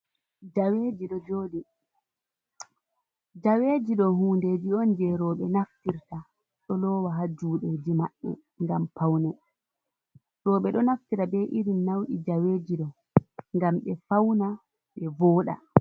jaweji ɗo joɗi jaweji do hunɗeji on je roɓe naftirta ɗo lowa ha juɗeji maɓɓe ngam paune roɓe do naftira be irin launi jaweji do ngam ɓe fauna ɓe voɗa.